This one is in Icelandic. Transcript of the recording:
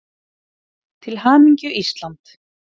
Til hamingju Ísland.